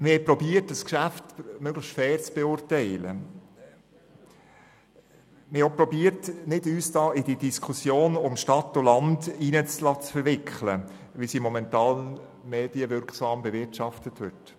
Wir haben versucht, dieses Geschäft möglichst fair zu beurteilen und uns nicht in die Stadt-LandDiskussion verwickeln zu lassen, wie sie momentan medienwirksam bewirtschaftet wird.